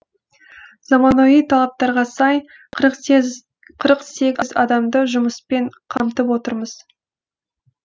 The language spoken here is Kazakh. заманауи талаптарға сай қырық сегіз адамды жұмыспен қамтып отырмыз